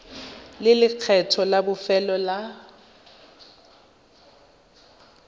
le lekgetho la bofelo la